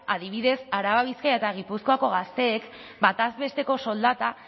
adibidez araba bizkaia eta gipuzkoako gazteek bataz besteko soldata